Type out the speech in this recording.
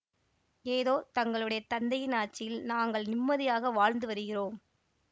ஏதோ தங்களுடைய தந்தையின் ஆட்சியில் நாங்கள் நிம்மதியாக வாழ்ந்து வருகிறோம்